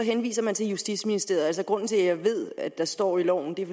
henviser man til justitsministeriet grunden til at jeg ved at det står i loven er